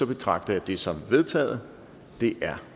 betragter jeg det som vedtaget det er